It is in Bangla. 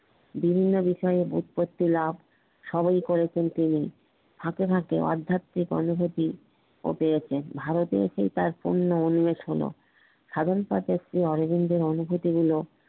বিভিন্ন বিষয়ে উৎপত্তি লাভ সবেই করেছেন তিনি সাথে সাথে অধ্যাত্বিক অনুভুতি ও পেয়েছেন ভারতের তার পূর্ণ অনুবেষণা সাধন অরবিন্দ র অনুভূতি গুলো